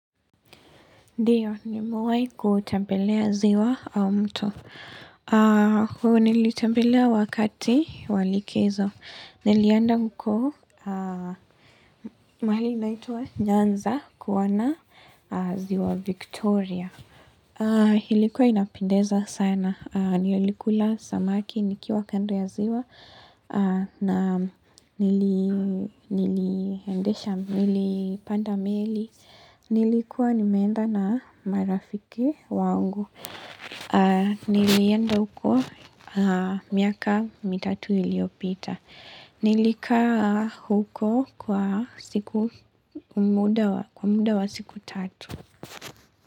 Ndiyo, nimewahi kutembelea ziwa au mto Huwa nalitembelea wakati wa likizo. Nilienda huko mahali inaitwa Nyanza kuona ziwa Victoria. Ilikuwa inapendeza sana. Nilikula samaki nikiwa kando ya ziwa. Na niliendesha nilipanda meli, nilikuwa nimeenda na marafiki zangu. Nilienda huko miaka mitatu iliyopita. Nilikaa huko kwa siku muda wa siku tatu.